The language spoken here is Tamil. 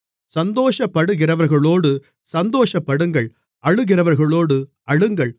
சந்தோஷப்படுகிறவர்களோடு சந்தோஷப்படுங்கள் அழுகிறவர்களோடு அழுங்கள்